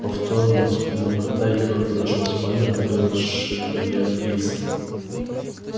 повторно вспугнув кота егор подошёл в спальню открыл шифоньер из